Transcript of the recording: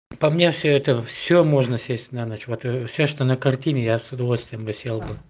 по мне всё это всё можно съесть на ночь вот всё что на картине я с удовольствием бы съел бы